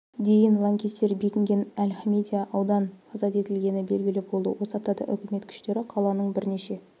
дейін лаңкестер бекінген әл-хамидия ауданы азат етілгені белгілі болды осы аптада үкімет күштері қаланың бірнеше